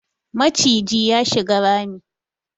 Maciji ya shiga rami